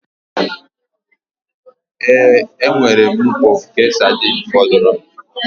Ee, enwere m mkpọ nke sardine fọdụrụ